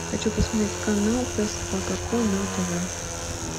хочу посмотреть канал пес собака ко на тв